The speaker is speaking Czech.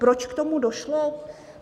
Proč k tomu došlo?